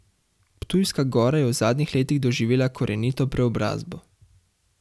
Ptujska Gora je v zadnjih letih doživela korenito preobrazbo.